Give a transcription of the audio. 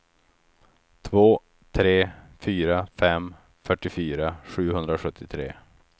två tre fyra fem fyrtiofyra sjuhundrasjuttiotre